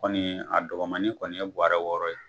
Kɔni a dɔgɔmani kɔni ye bɔwarɛ wɔɔrɔ ye.